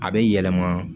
A bɛ yɛlɛma